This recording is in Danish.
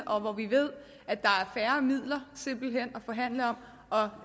og hvor vi ved at der simpelt hen er forhandle om og